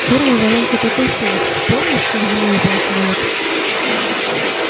чёрная воронка такой силы помнишь как зимой упал самолёт